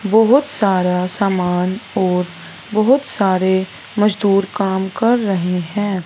बहोत सारा सामान और बहोत सारे मजदूर काम कर रहे हैं।